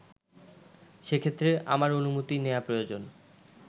সেক্ষেত্রে আমার অনুমতি নেয়া প্রয়োজন